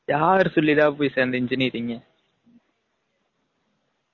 யார் சொல்லி டா போய் சேந்த engineering